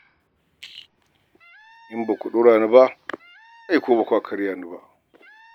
In ba ku ɗora ni ba ai kuwa ba kwa karya ni ba.